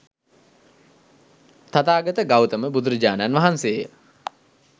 තථාගත ගෞතම බුදුරජාණන් වහන්සේ ය.